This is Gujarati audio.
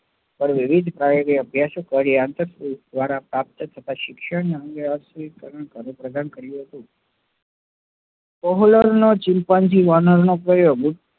વિવિધ અભ્યાસો કર્યા અને આંતર દ્વારા પ્રાપ્ત થતા શિક્ષણ નો અંગે chimpanzee નો કયો?